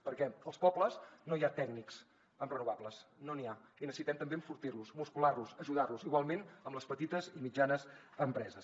perquè als pobles no hi ha tècnics en renovables no n’hi ha i necessitem també enfortir los muscular los ajudar los igualment amb les petites i mitjanes empreses